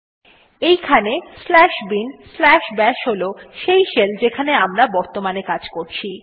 এইখানে slash bin slash bash হল সেই শেল যেখানে আমরা বর্তমানে কাজ করছি